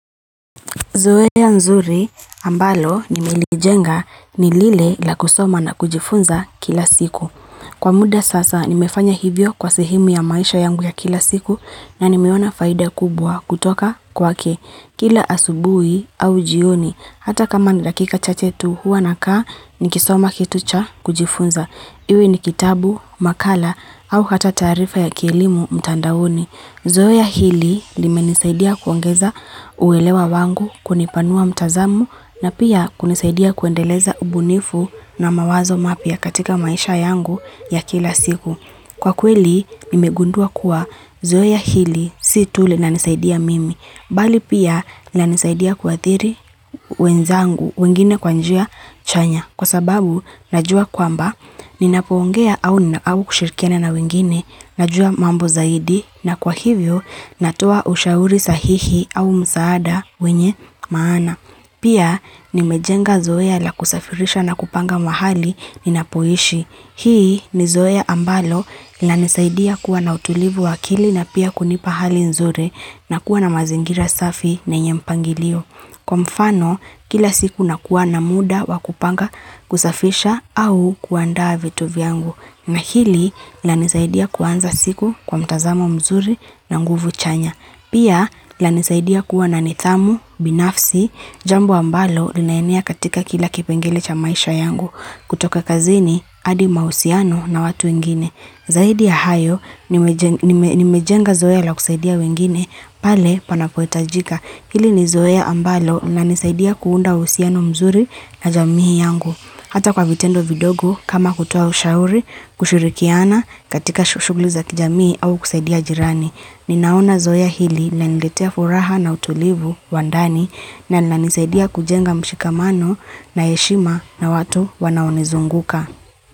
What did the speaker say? Zoeya nzuri ambalo nimelijenga ni lile la kusoma na kujifunza kila siku. Kwa muda sasa nimefanya hivyo kwa sehemu ya maisha yangu ya kila siku na ni mewona faida kubwa kutoka kwake. Kila asubui au jioni, hata kama ni dakika chache tu huwa nakaa nikisoma kitu cha kujifunza. Iwe ni kitabu, makala au hata tarifa ya kielimu mtandaoni. Zoeya hili limenisaidia kuongeza uwelewa wangu kunipanua mtazamu na pia kunisaidia kuendeleza ubunifu na mawazo mapia katika maisha yangu ya kila siku. Kwa kweli, mimegundua kuwa zoeya hili si tuli na linisaidia mimi, bali pia inanisaidia kuatiri wenzangu wengine kwa njia chanya. Kwa sababu, najua kwamba, ninapoongea au kushirikia na wengine, najua mambo zaidi, na kwa hivyo, natua ushauri sahihi au msaada wenye maana. Pia, nimejenga zoe la kusafirisha na kupanga mahali ninapoishi. Hii, ni zoe ambalo linanisaidia kuwa na utulivu wakili na pia kunipa hali nzuri na kuwa na mazingira safi na enye mpangilio. Kwa mfano, kila siku nakuwa na muda wakupanga kusafisha au kuandaa vitu vyangu. Na hili, lanisaidia kuwanza siku kwa mtazamo mzuri na nguvu chanya. Pia, lanisaidia kuwa na nitamu, binafsi, jambo ambalo linaenea katika kila kipengele cha maisha yangu. Kutoka kazini, adi mausiano na watu wengine. Zahidi ya hayo, nimejenga zoe la kusaidia wengine, pale panapoetajika. Hili ni zoe ambalo inanisaidia kuunda usiano mzuri na jamii yangu. Hata kwa vitendo vidogu kama kutua ushauri, kushurikiana, katika shuguliza kijamii au kusaidia jirani. Ninaona zoe hili linaniletea furaha na utulivu, wa ndani, na inisaidia kujenga mshikamano na yeshima na watu wanaonezunguka.